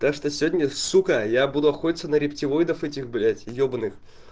так что сегодня сука я буду охотится на рептилоидов этих блять ебаных